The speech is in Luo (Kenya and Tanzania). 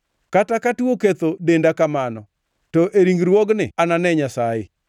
Kata ka tuo oketho denda kamano, to e ringruogni anane Nyasaye.